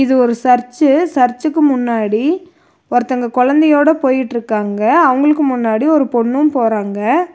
இது ஒரு சர்ச்சு சர்ச்சுக்கு முன்னாடி ஒருத்தங்க கொழந்தையோட போயிட்ருக்காங்க. அவுங்களுக்கு முன்னாடி ஒரு பொண்ணும் போறாங்க.